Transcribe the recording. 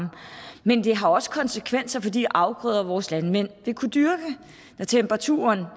men det har også konsekvenser for de afgrøder som vores landmænd vil kunne dyrke når temperaturen